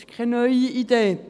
Das ist keine neue Idee.